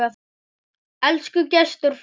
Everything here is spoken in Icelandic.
Elsku Gestur frændi.